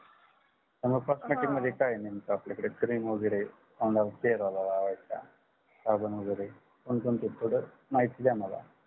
अन cosmetic मध्ये काय आहे नेमक आपल्याकडे cream वगेरे तोंडाला चेहेऱ्याला लावायचं साबण वगेरे कोणकोणते product महिती दया मला